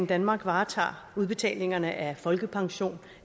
danmark varetager udbetalingerne af folkepension